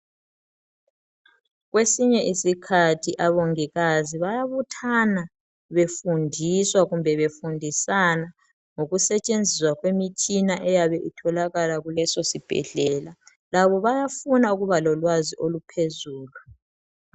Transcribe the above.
Kwesinye isikhathi omongikazi bayabuthana, befundisa, kumbe befundisana, ngokusetshenziswa kwemitshina eyabe isetshenziswa kulesosibhedlela. Labo bayafuna ukuba lolwazi oluphezulu.